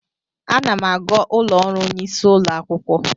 Ana m aga ụlọ ọrụ onye isi ụlọ akwụkwọ.